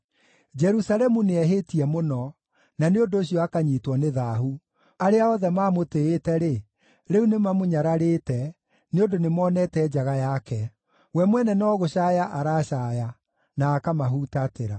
Jerusalemu nĩehĩtie mũno, na nĩ ũndũ ũcio akanyiitwo nĩ thaahu. Arĩa othe maamũtĩĩte-rĩ, rĩu nĩmamũnyararĩte, nĩ ũndũ nĩmonete njaga yake; we mwene no gũcaaya aracaaya, na akamahutatĩra.